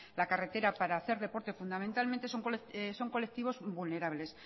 la carretera para hacer deporte fundamentalmente son colectivos vulnerables